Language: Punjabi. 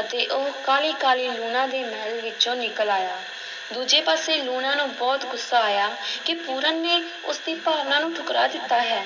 ਅਤੇ ਉਹ ਕਾਹਲੀ-ਕਾਹਲੀ ਲੂਣਾ ਦੇ ਮਹਿਲ ਵਿੱਚੋਂ ਨਿਕਲ ਆਇਆ, ਦੂਜੇ ਪਾਸੇ ਲੂਣਾ ਨੂੰ ਬਹੁਤ ਗੁੱਸਾ ਆਇਆ ਕਿ ਪੂਰਨ ਨੇ ਉਸ ਦੀ ਭਾਵਨਾ ਨੂੰ ਠੁਕਰਾ ਦਿੱਤਾ ਹੈ,